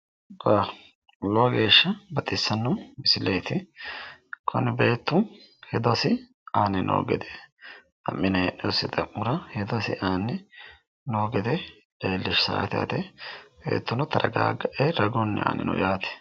Lowo geeshsha baxissanno misileeti. Kuni beettu hedosi aanni noo gede mine heedhiwosi xa'mora hedo aanni noo gede leellishshaate yaate. Beettuno taragaaggae ragunni aanni no yaate.